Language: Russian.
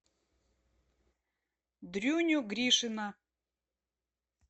дрюню гришина